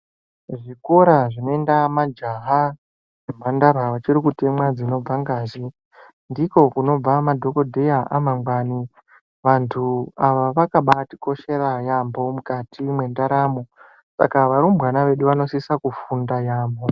Kuzvikora zvinoenda majaha nemhandara vachirikutemwa dzinobva ngazi ndiko kunobva madhokodheya amangwani vanthu ava vakabaatikoshera yaambo mukati mwendaramo saka varumbwana vedu vanosise kufunda yaamho.